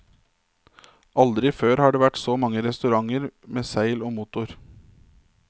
Aldri før har det vært så mange restauranter med seil og motor.